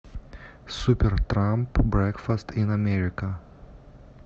супертрамп брекфаст ин америка